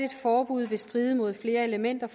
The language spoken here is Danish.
forbud vil stride mod flere elementer